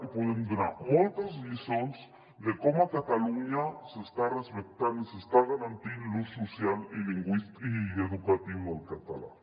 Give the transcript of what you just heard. i podem donar moltes lliçons de com a catalunya s’està respectant i s’està garantint l’ús social i educatiu del català